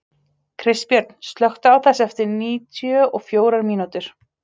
Kristbjörn, slökktu á þessu eftir níutíu og fjórar mínútur.